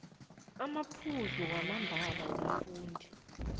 amaphuzu wamambala womfundi